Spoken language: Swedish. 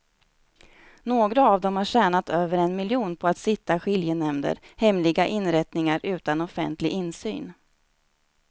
Några av dem har tjänat över en miljon på att sitta i skiljenämnder, hemliga inrättningar utan offentlig insyn.